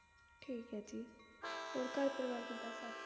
ਠੀਕ ਆ ਜੀ ਹੋਰ ਘਰ ਪਰਿਵਾਰ ਕਿਦਾ